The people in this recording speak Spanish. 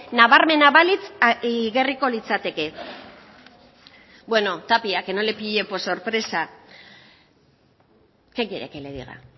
nabarmena balitz igarriko litzateke bueno tapia que no le pille por sorpresa qué quiere que le diga